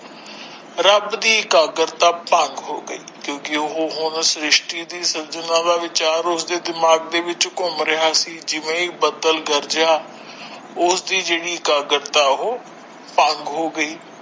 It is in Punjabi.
ਰੱਬ ਦੀ ਇਕਾਗਰਤਾ ਭੰਗ ਹੋ ਗਈ ਕਿਉਂਕਿ ਉਹ ਹੁਣ ਸ਼੍ਰਿਸ਼ਟੀ ਦੀ ਸੰਜਨਾ ਦਾ ਵਿਚਾਰ ਉਸਦੇ ਦਿਮਾਗ ਵਿੱਚ ਘੁੰਮ ਰਹਿਆ ਸੀ ਜਿਵੇ ਹੀ ਬੱਦਲ ਗਰਜਿਆ ਉਸਦੀ ਜਿਹੜੀ ਇਕਾਗਰਤਾ ਉਹ ਭੰਗ ਹੋ ਗਈ।